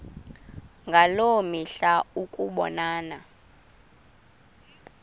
ngaloo mihla ukubonana